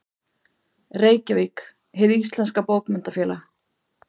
Reykjavík: Hið íslenska Bókmenntafélag.